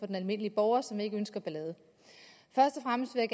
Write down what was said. den almindelige borger som ikke ønsker ballade først og fremmest vil